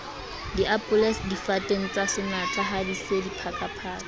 diapole difateng tsasenatlahadi se diphakaphaka